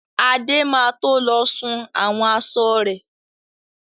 Adé má to lọ sun àwọn aṣọ rẹ̀.